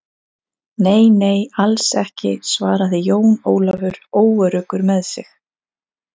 Nei, nei, alls ekki, svaraði Jón Ólafur óöruggur með sig.